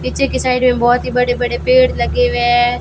पीछे की साइड में बहुत ही बड़े बड़े पेड़ लगे हुए हैं।